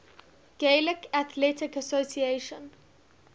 gaelic athletic association